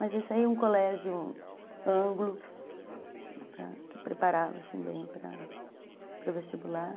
Mas isso aí é um colégio ângulo, que preparava assim, bem para para o vestibular.